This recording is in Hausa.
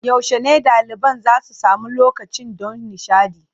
Yaushe ne ɗaliban za su sami lokacin ɗan nishaɗi?